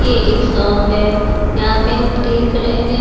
यह एक शॉप है यहाँ पे हम देख रहे हैं।